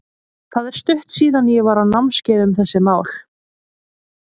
Það er stutt síðan að ég var á námskeiði um þessi mál.